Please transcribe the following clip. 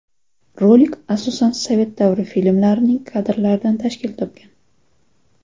Rolik asosan sovet davri filmlarining kadrlaridan tashkil topgan.